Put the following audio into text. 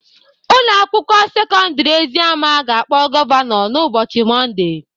Ụlọ akwụkwọ sekọndrị Eziama ga-akpọ gọvanọ n'ụbọchị Mọnde